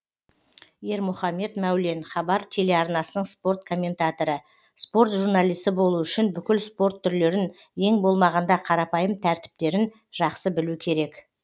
ермұхамед мәулен хабар телеарнасының спорт комментаторы спорт журналисі болу үшін бүкіл спорт түрлерін ең болмағанда қарапайым тәртіптерін жақсы білу керек